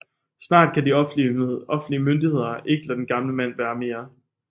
Snart kan de offentlige myndigheder ikke lade den gamle mand være mere